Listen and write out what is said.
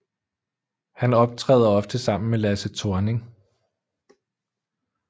Han optræder ofte sammen med Lasse Thorning